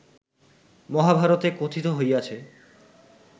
মহাভারতে কথিত হইয়াছে